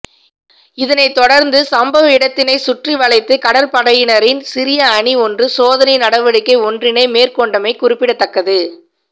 இதனை தொடரந்து சம்பவ இடத்தினை சுற்றிவளைத்து கடற்படையினரின் சிறிய அணி ஒன்று சோதனை நடவடிக்கை ஒன்றினை மேற்கொண்டமை குறிப்பிடத்தக்கது